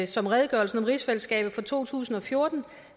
som redegørelsen om rigsfællesskabet fra to tusind og fjorten